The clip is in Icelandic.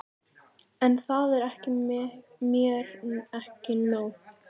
En það er mér ekki nóg.